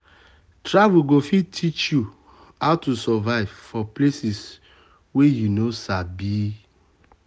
travel go fit teach you how to survive for place wey you no sabi.